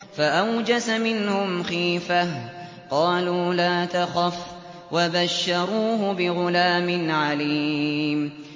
فَأَوْجَسَ مِنْهُمْ خِيفَةً ۖ قَالُوا لَا تَخَفْ ۖ وَبَشَّرُوهُ بِغُلَامٍ عَلِيمٍ